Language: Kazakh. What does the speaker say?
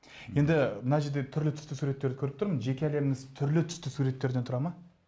енді мына жерде түрлі түсті суреттерді көріп тұрмын жеке әлеміңіз түрлі түсті суреттерден тұра ма